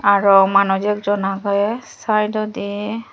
aro manuj ekjon agey sayedodi.